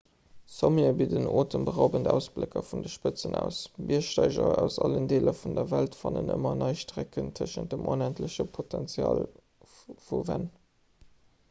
sommete bidden otemberaubend ausblécker vun de spëtzen aus biergsteiger aus allen deeler vun der welt fannen ëmmer nei strecken tëschent dem onendleche potenzial vu wänn